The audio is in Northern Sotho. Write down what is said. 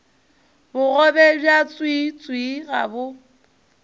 bogobe bja tswiitswii ga bo